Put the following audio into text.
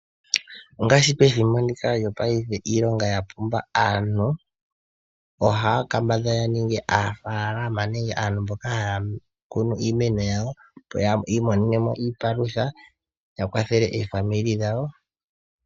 Ongaashi pethimbo ndika lyopaife iilonga ya pumba, aantu ohaya kambadhala ya ninge aanafaalama nenge aantu mboka haya kunu iimeno yawo, opo yi imonene mo iipalutha ya kwathele omazimo gawo.